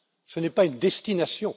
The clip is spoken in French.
Ce n'est pas une destination.